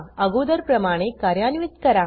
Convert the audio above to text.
अगोदरप्रमाणे कार्यान्वीत करा